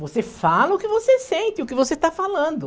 Você fala o que você sente, o que você está falando.